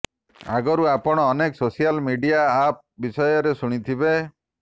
ଆଗରୁ ଆପଣ ଅନେକ ସୋସିଆଲ ମିଡ଼ିଆ ଆପ୍ ବିଷୟରେ ଶୁଣିଥିବେ